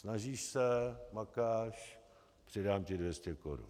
Snažíš se, makáš, přidám ti 200 korun.